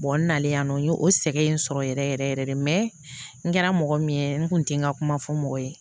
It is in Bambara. n nalen yan nɔ n y'o sɛgɛn in sɔrɔ yɛrɛ yɛrɛ yɛrɛ yɛrɛ de n kɛra mɔgɔ min ye n kun tɛ n ka kuma fɔ mɔgɔ ye